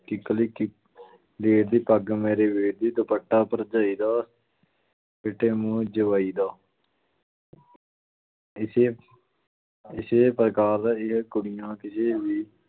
ਕਿੱਕਲੀ ਕਿ~ ਕਲੀਰ ਦੀ, ਪੱਗ ਮੇਰੇ ਵੀਰ ਦੀ, ਦੁਪੱਟਾ ਭਰਜਾਈ ਦਾ ਫਿੱਟੇ ਮੂੰਹ ਜਵਾਈ ਦਾ ਇਸੇ ਇਸੇ ਪ੍ਰਕਾਰ ਇਹ ਕੁੜੀਆਂ ਕਿਸੇ ਵੀ